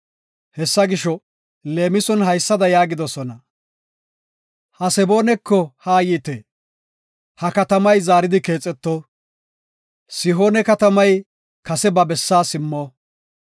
Hessa gisho, leemison haysada yaagidosona; “Haseboonako haayite; ha katamay zaaridi keexeto; Sihoone katamay kase ba bessaa simmo.